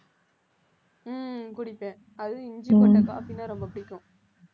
உம் குடிப்பேன் அதுவும் இஞ்சி போட்ட coffee ன்னா ரொம்ப பிடிக்கும்